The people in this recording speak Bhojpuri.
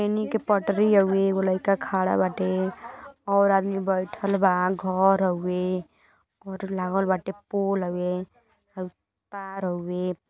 इ रेली क पटरी औ लैका खड़ा बाटे और आदमी बैठाल बा घर हवे लागल बाते पोल हवे औ तार हवे --